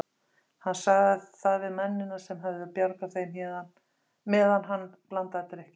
Hann sagði það við mennina sem höfðu bjargað þeim meðan hann blandaði drykkina.